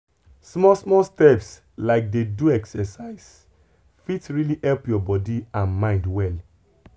small small steps like dey do exercise fit really help your body and mind well.